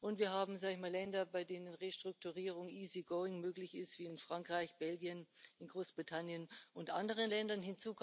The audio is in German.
Und wir haben Länder, bei denen Restrukturierung easy going möglich ist, wie in Frankreich, Belgien, Großbritannien und anderen Ländern.